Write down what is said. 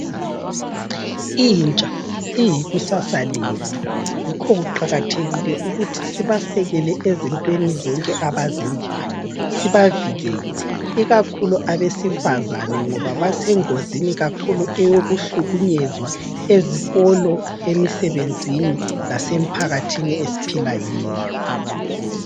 Intsha iyikusasa lethu. Yikho kuqakathekile ukuthi sibasekele ezintweni zonke abazenzayo. Sibavikele, ikakhulu abesifazana ngoba basengozini yokuhlukunyezwa ikakhulu ezikolo, emisebenzini, lasemphakathini esiphila kuyo